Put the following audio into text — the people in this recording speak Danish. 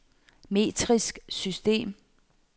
metrisk system